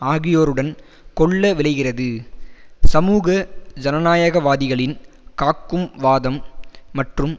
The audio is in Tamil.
ஆகியோருடன் கொள்ள விழைகிறது சமூக ஜனநாயகவாதிகளின் காக்கும் வாதம் மற்றும்